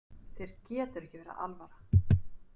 Þér getur ekki verið alvara!